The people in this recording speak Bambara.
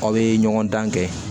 Aw bɛ ɲɔgɔndan kɛ